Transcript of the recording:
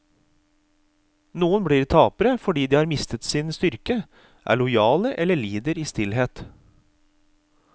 Noen blir tapere fordi de har mistet sin styrke, er lojale eller lider i stillhet.